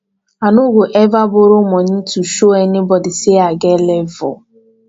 i no go eva borrow moni to show anybodi sey i get level